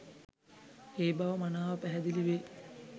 ඒ බව මනාව පැහැදිලි වේ.